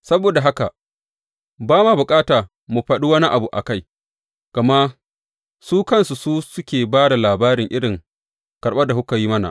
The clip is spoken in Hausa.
Saboda haka ba ma bukata mu faɗa wani abu a kai, gama su kansu su suke ba da labari irin karɓar da kuka yi mana.